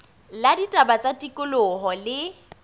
la ditaba tsa tikoloho le